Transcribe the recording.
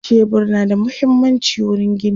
shebur na da muhimmanci wurin gini